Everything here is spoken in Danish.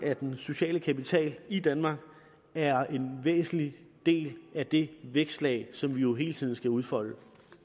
at den sociale kapital i danmark er en væsentlig del af det vækstlag som vi jo hele tiden skal udfolde